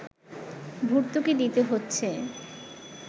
ভর্তুকি দিতে হচ্ছে